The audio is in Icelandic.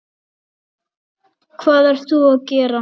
Hvað ert þú að gera?